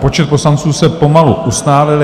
Počet poslanců se pomalu ustálil.